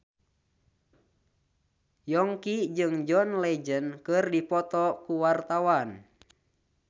Yongki jeung John Legend keur dipoto ku wartawan